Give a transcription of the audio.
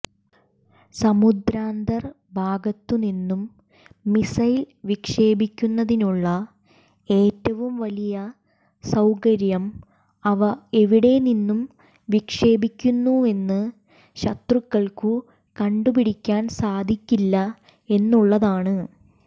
സമുദ്രാന്തർഭാഗത്തുനിന്നും missile വിക്ഷേപിക്കുന്നതിനുള്ള ഏറ്റവും വലിയ സൌകര്യം അവ എവിടെനിന്നു വിക്ഷേപിക്കുന്നുവെന്ന് ശത്രുക്കൾക്കു കണ്ടുപിടിക്കാൻ സാധിക്കില്ല എന്നുള്ളതാണ്